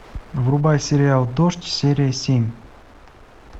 врубай сериал дождь серия семь